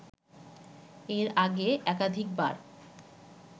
এর আগে একাধিকবার